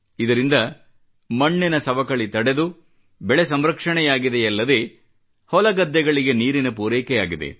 ಇದರಿಂದ ಮಣ್ಣಿನ ಸವಕಳಿ ತಡೆದು ಬೆಳೆ ಸಂರಕ್ಷಣೆಯಾಗಿದೆಯಲ್ಲದೇ ಹೊಲಗದ್ದೆಗಳಿಗೆ ನೀರಿನ ಪೂರೈಕೆ ಆಗಿದೆ